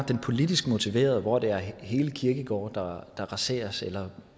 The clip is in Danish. det politisk motiverede hvor det er hele kirkegårde der raseres eller